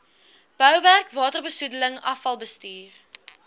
bouwerk waterbesoedeling afvalbestuur